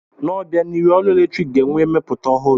N'obianihu, ọrụ eletrik ga-enwe ihe mmepụta ọhụrụ.